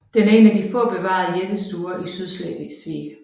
Den er en af de få bevarede jættestuer i Sydslesvig